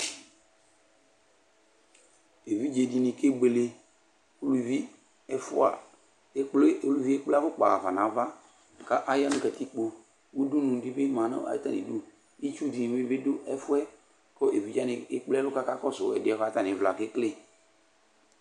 Evidze dini kebuele, uluvi ɛfua, ekple uluvi ekple afukpa ɣa fa n'ava k'ayanu katikpo Udunu di bi ma n'atami du, itsu dini bi du ɛfuɛ, ku evidze'ani ekple ɛlu kakɔsu ɛdiɛ bua k'atami vla kekele